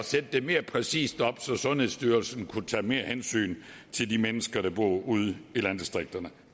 sætte det mere præcist op så sundhedsstyrelsen kunne tage mere hensyn til de mennesker der bor ude i landdistrikterne